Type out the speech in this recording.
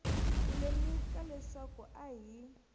ku lemuka leswaku a hi